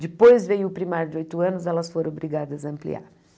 Depois veio o primário de oito anos, elas foram obrigadas a ampliar.